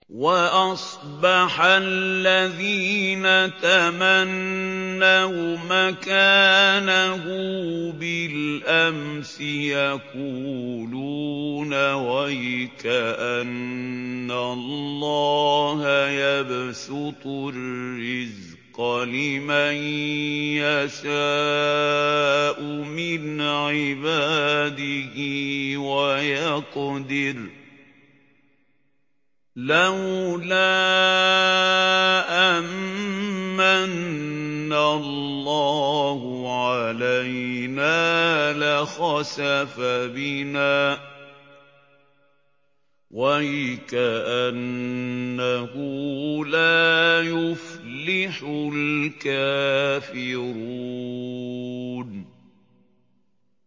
وَأَصْبَحَ الَّذِينَ تَمَنَّوْا مَكَانَهُ بِالْأَمْسِ يَقُولُونَ وَيْكَأَنَّ اللَّهَ يَبْسُطُ الرِّزْقَ لِمَن يَشَاءُ مِنْ عِبَادِهِ وَيَقْدِرُ ۖ لَوْلَا أَن مَّنَّ اللَّهُ عَلَيْنَا لَخَسَفَ بِنَا ۖ وَيْكَأَنَّهُ لَا يُفْلِحُ الْكَافِرُونَ